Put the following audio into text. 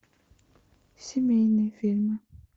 семейные фильмы